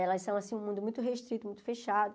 Elas são, assim, um mundo muito restrito, muito fechado.